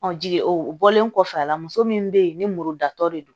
jigin o bɔlen kɔfɛ a la muso min bɛ yen ni muru datɔ de don